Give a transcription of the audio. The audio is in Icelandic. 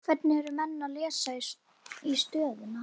Hvernig eru menn að lesa í stöðuna?